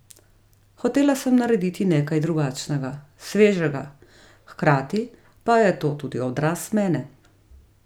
Hotela sem narediti nekaj drugačnega, svežega, hkrati pa je to tudi odraz mene.